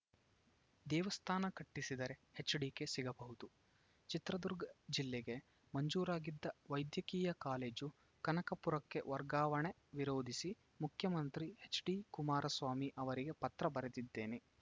ದೇವಸ್ಥಾನ ಕಟ್ಟಿಸಿದರೆ ಎಚ್‌ಡಿಕೆ ಸಿಗಬಹುದು ಚಿತ್ರದುರ್ಗ ಜಿಲ್ಲೆಗೆ ಮಂಜೂರಾಗಿದ್ದ ವೈದ್ಯಕೀಯ ಕಾಲೇಜು ಕನಕಪುರಕ್ಕೆ ವರ್ಗಾವಣೆ ವಿರೋಧಿಸಿ ಮುಖ್ಯಮಂತ್ರಿ ಎಚ್‌ಡಿ ಕುಮಾರಸ್ವಾಮಿ ಅವರಿಗೆ ಪತ್ರ ಬರೆದಿದ್ದೇನೆ